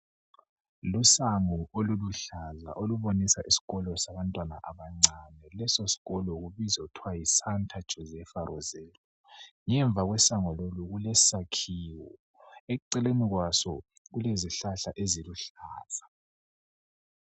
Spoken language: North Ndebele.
Lusango oluluhlaza olubonisa isikolo sabantwana abancane. Leso sikolo kubiza kuthiwa Sainte Josepha Resello. Ngemva kwesango lolu kulesakhiwo, eceleni kwaso kulezihlahla eziluhlaza.